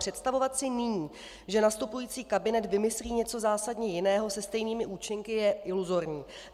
Představovat si nyní, že nastupující kabinet vymyslí něco zásadně jiného se stejnými účinky, je iluzorní.